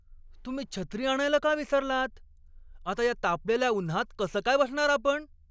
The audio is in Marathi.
तुम्ही छत्री आणायला का विसरलात? आता या तापलेल्या उन्हात कसं काय बसणार आपण?